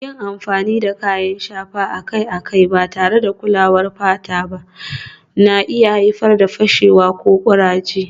Yin amfani da kayan shafa akai-akai ba tare da kulawar fata ba na iya haifar da fashewa ko kuraje